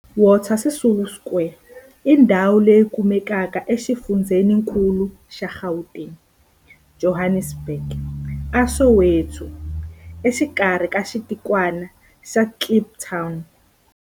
Walter Sisulu Square i ndhawu leyi kumekaka exifundzheninkulu xa Gauteng, Johannesburg, a Soweto, exikarhi ka xitikwana xa Kliptown.